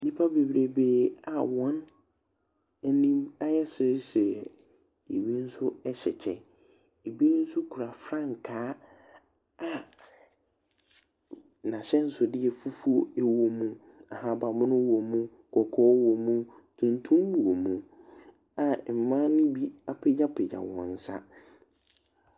Nnipa bebreebe a wɔn anim ayɛ seresere. Ebi nso ɛhyɛ kyɛ. Eb nso kura frankaa a n'ahyɛnsodeɛ fufuo ɛwɔ mu, ahabanmono womu, kɔkɔɔ wɔmo, tuntum wɔmo a mmaa ne bi apagyapagya wɔn nsa.